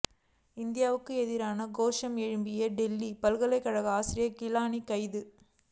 இந்தியாவுக்கு எதிராக கோஷம் எழுப்பிய டெல்லி பல்கலைக்கழக ஆசிரியர் கிலானி கைது